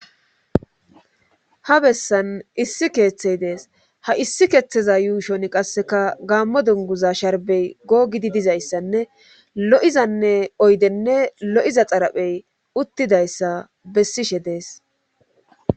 Ha bessan issi keeththey dees ha issi keeththeza yuushon qasseka gaammo dunguza sharbey googidi dizayssanne lo7izanne oydenne lo7iza xaraphey uttidayssa bessishe dees.